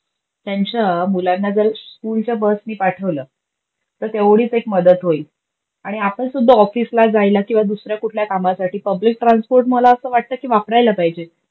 त्यांच्या मुलांना जर स्कुलच्या बसनी पाठवल, तर तेवढीच एक मदत होईल. आणि आपण सुद्धा ऑफिसला जायला किवा दुसऱ्या कुठल्या कामासाठी पब्लिक ट्रान्सपोर्ट मला अस वाटत की वापरायला पाहिजे.